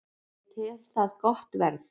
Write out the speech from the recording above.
Ég tel það gott verð